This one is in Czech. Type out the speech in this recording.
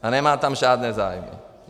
A nemá tam žádné zájmy.